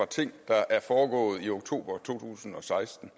ting der er foregået i oktober to tusind og seksten